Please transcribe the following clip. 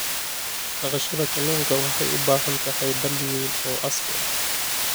Dhaqashada kalluunka waxay u baahan tahay balli weyn oo casri ah.